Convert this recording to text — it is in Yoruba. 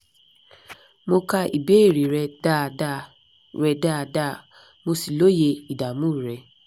mo ka ìbéèrè rẹ dáadáa rẹ dáadáa mo sì lóye ìdààmú rẹ